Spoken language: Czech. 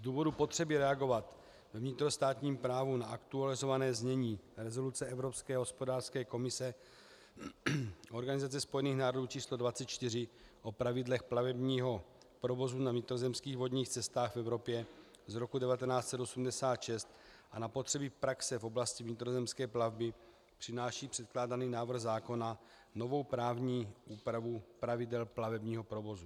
Z důvodu potřeby reagovat ve vnitrostátním právu na aktualizované znění rezoluce Evropské hospodářské komise Organizace spojených národů číslo 24 o pravidlech plavebního provozu na vnitrozemských vodních cestách v Evropě z roku 1986 a na potřeby praxe v oblasti vnitrozemské plavby přináší předkládaný návrh zákona novou právní úpravu pravidel plavebního provozu.